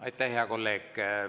Aitäh, hea kolleeg!